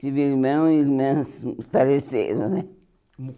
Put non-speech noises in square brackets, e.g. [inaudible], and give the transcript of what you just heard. Tive irmão e irmãs faleceram, né? [unintelligible]